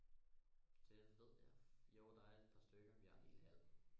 Det ved jeg jo der er et par stykker vi har en hel hal